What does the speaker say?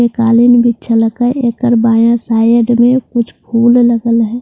ये काली मिली झलक हैं लेकर बाये साये कुछ फूल अलग अलग हैं --